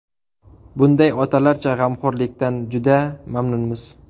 Bunday otalarcha g‘amxo‘rlikdan juda mamnunmiz”.